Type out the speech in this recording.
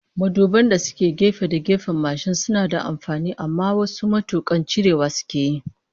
Maduban da suke gefe da gefen mashin suna da amfani, amma wasu matukan cirewa sukeyi